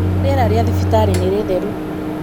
rĩera rĩa thibitarĩ nĩ rĩtheru